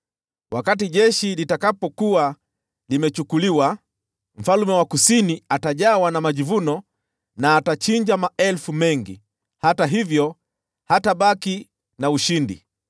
Wakati jeshi litakapokuwa limechukuliwa, mfalme wa Kusini atajawa na kiburi na atachinja maelfu mengi, hata hivyo hatabaki na ushindi.